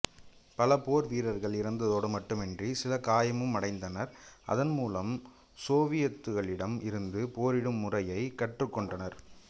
பல போர் வீரர்கள் இறந்ததோடு மட்டுமன்றி சிலர் காயமும் அடைந்தனர் அதன் மூலம் சோவியத்துக்களிடம் இருந்து போரிடும் முறையைக் கற்றுக்கொண்டனர்